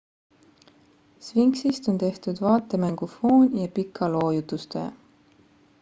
sphinxist on tehtud vaatemängu foon ja pika loo jutustaja